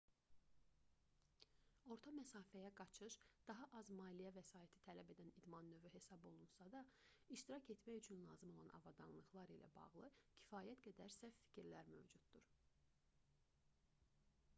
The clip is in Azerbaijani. orta məsafəyə qaçış daha az maliyyə vəsaiti tələb edən idman növü hesab olunsa da iştirak etmək üçün lazım olan avadanlıqlar ilə bağlı kifayət qədər səhv fikirlər mövcuddur